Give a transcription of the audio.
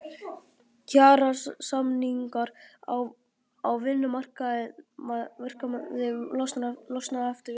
Kjarasamningar á vinnumarkaði losna eftir viku